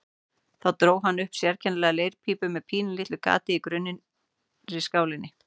Þá dró hann upp sérkennilega leirpípu með pínulitlu gati í grunnri skálinni.